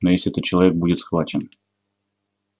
но если этот человек будет схвачен